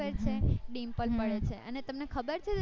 બરાબર છે અને તમને ખબર છે